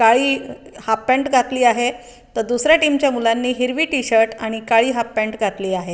काळी half pant घातली आहे त दुसऱ्या टीम च्या मुलांनी हिरवी टी-शर्ट तर काळी हाफ पॅन्ट घातली आहे.